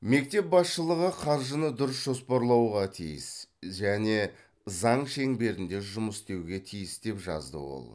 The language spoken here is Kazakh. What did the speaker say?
мектеп басшылығы қаржыны дұрыс жоспарлауға тиіс және заң шеңберінде жұмыс істеуге тиіс деп жазды ол